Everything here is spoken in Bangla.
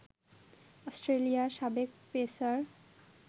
অস্ট্রেলিয়ার সাবেক পেসার